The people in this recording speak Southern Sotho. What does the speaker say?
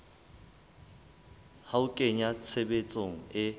ho a kenya tshebetsong e